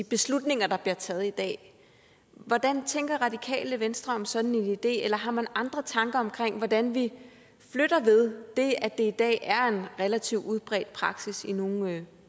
beslutninger der blev taget i dag hvordan tænker radikale venstre om en sådan idé eller har man andre tanker om hvordan vi flytter ved det at det i dag er en relativt udbredt praksis i nogle